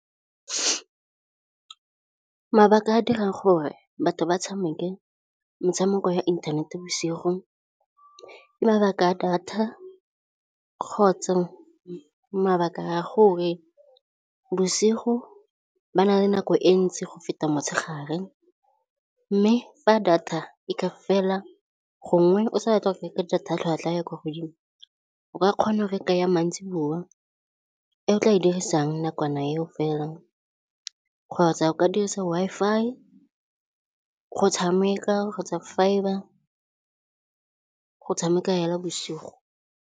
Mabaka a dirang gore batho ba tshameke metshameko ya inthanete bosigo ke mabaka data kgotsa mabaka gore bosigo ba na le nako e ntsi go feta motshegare. Mme fa data e ka fela gongwe, o sa ya tlhwatlhwa ya kwa godimo, o ka kgona re ka ya maitseboa. E o tla e dirisang nakwana eo fela, kgotsa o ka dirisa Wi-Fi go tshameka kgotsa fibre go tshameka fela bosigo.